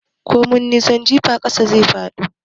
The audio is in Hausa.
Komai nisan jifa ƙasa zai fado.